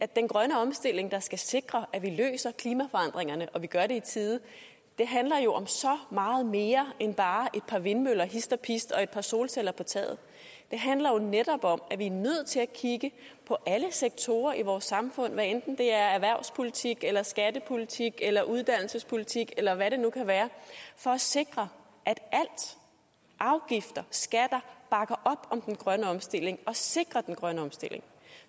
den grønne omstilling der skal sikre at vi løser klimaforandringerne og at vi gør det i tide handler jo om så meget mere end bare et par vindmøller hist og pist og et par solceller på taget det handler jo netop om at vi er nødt til at kigge på alle sektorer i vores samfund hvad enten det er erhvervspolitik eller skattepolitik eller uddannelsespolitik eller hvad det nu kan være for at sikre at alt afgifter skatter bakker op om den grønne omstilling og sikrer den grønne omstilling